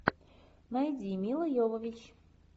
найди мила йовович